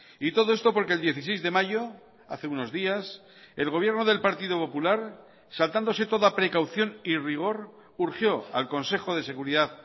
y todo esto porque el dieciséis de mayo hace unos días el gobierno del partido popular saltándose toda precaución y rigor urgió al consejo de seguridad